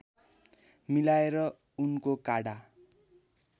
मिलाएर उनको काढा